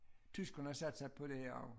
Tyskerne satte sig på det her også